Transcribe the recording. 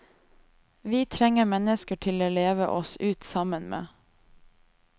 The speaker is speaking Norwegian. Vi trenger mennesker å leve oss ut sammen med.